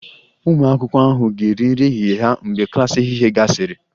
Ụmụ akwụkwọ ahụ ga-eri nri ehihie ha mgbe klas ehihie gasịrị